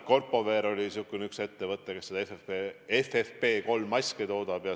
Corpowear on üks selliseid ettevõtteid, kes FFP3-maske toodab.